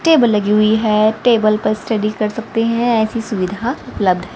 table लगी हुई है टेबल पर स्टडी कर सकते हैं ऐसी सुविधा उपलब्ध--